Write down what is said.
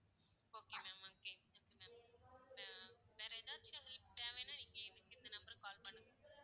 okay ma'am okay okay ma'am வேற ஏதாச்சும் உங்களுக்கு தேவைன்னா நீங்க எங்களுக்கு இந்த number க்கு call பண்ணுங்க.